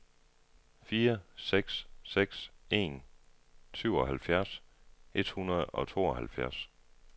fire seks seks en syvoghalvfjerds et hundrede og tooghalvfjerds